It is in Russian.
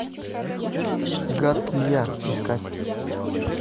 гадкий я искать